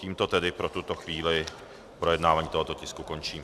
Tímto tedy pro tuto chvíli projednávání tohoto tisku končím.